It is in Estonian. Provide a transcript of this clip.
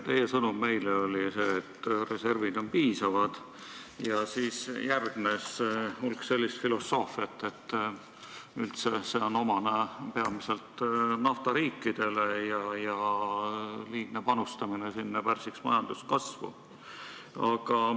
Teie sõnum meile oli see, et reservid on piisavad, millele järgnes hulganisti sellist filosoofiat, et see reserv on üldse omane peamiselt naftariikidele ja liigne panustamine sinna pärsiks majanduskasvu.